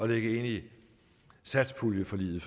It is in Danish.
lægge ind i satspuljeforliget